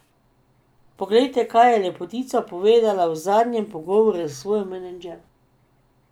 Poglejte, kaj je lepotica povedala v zadnjem pogovoru s svojo menedžerko.